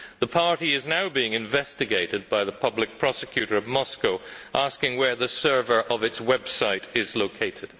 The party is now being investigated by the public prosecutor of Moscow who is asking where the server of its website is located.